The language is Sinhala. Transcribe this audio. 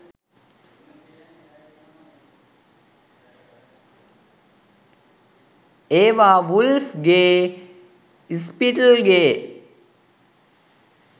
ඒවා වුල්ෆ් ගේ ස්පිට්ල් ගේ